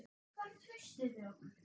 Hvar er traustið við okkur?